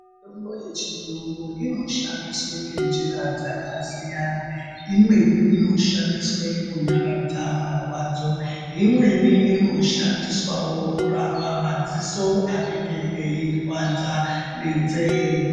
Mitombo yechiyungu inoshandiswa ngenjira dzakasiyana, imweni inoshandiswe kunyaradza marwadzo, imweni inoshandiswawo kurapa madziso anenge eirwadziwa nenzee.